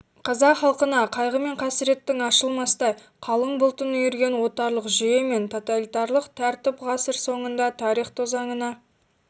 қазақ халқына қайғы мен қасіреттің ашылмастай қалың бұлтын үйірген отарлық жүйе мен тоталитарлық тәртіп ғасыр соңында тарих тозаңына